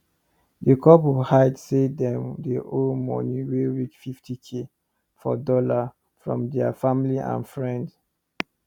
d couple hide say dem dey owe moni wey reach fifty k for dollar from deir family and friend